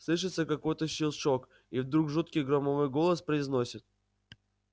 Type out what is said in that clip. слышится какой-то щелчок и вдруг жуткий громовой голос произносит